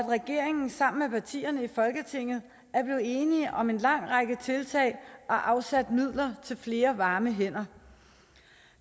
regeringen sammen med partierne i folketinget er blevet enige om en lang række tiltag og har afsat midler til flere varme hænder